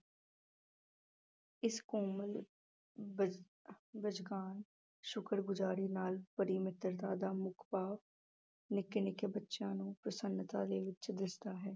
ਇਸ ਕੋਮਲ ਬ ਸ਼ੁਕਰਗੁਜ਼ਾਰੀ ਨਾਲ ਭਰੀ ਮਿੱਤਰਤਾ ਦਾ ਮੁੱਖ ਭਾਵ ਨਿੱਕੇ ਨਿੱਕੇ ਬੱਚਿਆਂ ਨੂੰ ਪ੍ਰਸੰਨਤਾ ਦੇ ਵਿੱਚ ਦਿਸਦਾ ਹੈ।